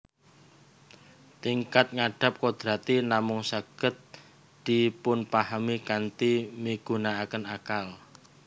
Tingkat ngandhap kodrati namung saged dipunpahami kanthi migunaaken akal